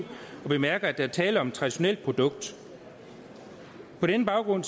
bemærker at der er tale om et traditionelt produkt på den baggrund